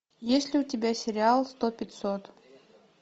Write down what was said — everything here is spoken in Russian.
есть ли у тебя сериал сто пятьсот